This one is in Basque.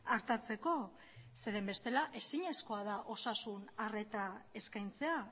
artatzeko zeren bestela ezinezkoa da osasun arreta eskaintzea